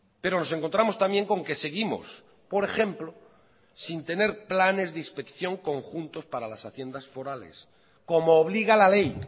pero nos encontramos también con que seguimos por ejemplo sin tener planes de inspección conjuntos para las haciendas forales como obliga la ley